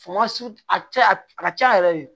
a cɛ a ka ca yɛrɛ de